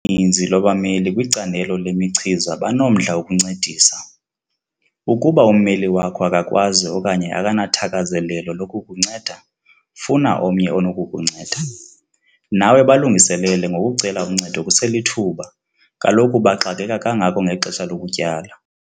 ninzi lwabameli kwicandelo lemichiza banomdla wokuncedisa. Ukuba ummeli wakho akakwazi okanye akanathakazelelo lokukunceda - funa omnye onokukunceda. Nawe balungiselele ngokucela uncedo kuselithuba - kaloku baxakeka kangako ngexesha lokutyala.